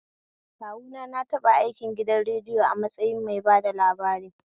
Kawuna na taɓa aikin gidan radiyo a matsayin mai bada labari